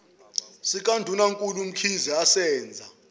sikandunankulu umkhize asenza